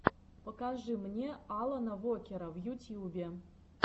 покажи мне алана вокера в ютьюбе